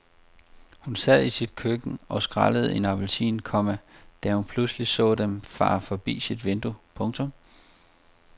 Hun sad i sit køkken og skrællede en appelsin, komma da hun pludselig så dem fare forbi sit vindue. punktum